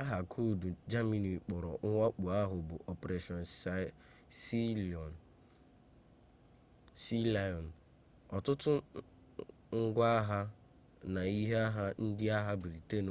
aha koodu germany kpọrọ mwakpo ahụ bụ operation sealion ọtụtụ ngwa agha na ihe agha ndị agha britain